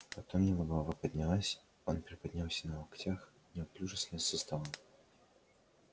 потом его голова поднялась он приподнялся на локтях неуклюже слез со стола